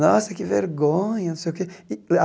Nossa, que vergonha! Não sei o quê